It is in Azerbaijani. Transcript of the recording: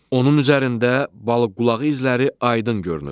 Onun üzərində balıq qulağı izləri aydın görünür.